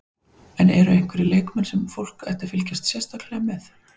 En eru einhverjir leikmenn sem fólk ætti að fylgjast sérstaklega með?